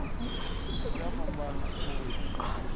dzi a fhambana u ya